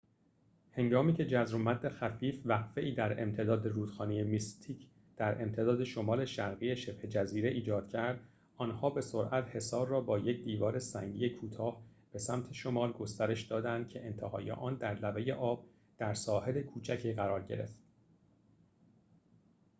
هنگامی که جزر و مد خفیف وقفه‌ای در امتداد رودخانه میستیک در امتداد شمال شرقی شبه جزیره ایجاد کرد آن‌ها به سرعت حصار را با یک دیوار سنگی کوتاه به سمت شمال گسترش دادند که انتهای آن در لبه آب در ساحل کوچکی قرار گرفت